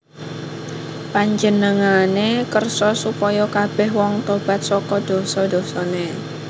Panjenengané kersa supaya kabèh wong tobat saka dosa dosané